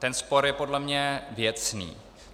Ten spor je podle mě věcný.